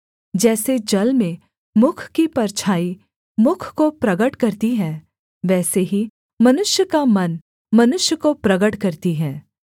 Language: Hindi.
जैसे जल में मुख की परछाई मुख को प्रगट करती है वैसे ही मनुष्य का मन मनुष्य को प्रगट करती है